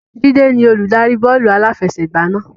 Jide ni Olùdarí bọ́ọ̀lù aláfẹsẹ̀gbá náà